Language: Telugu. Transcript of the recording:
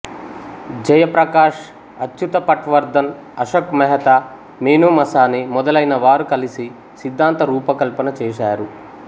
జయప్రకాష్ అచ్యుత పట్వ ర్ధన్ అశోక్ మెహతా మీనూ మసానీ మొదలైనవారు కలిసి సిద్ధాంత రూప కల్పన చేశారు